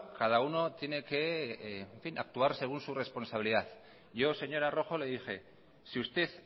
cada uno tiene que actuar según su responsabilidad yo señora rojo le dije si usted